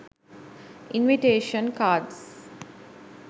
invitation cards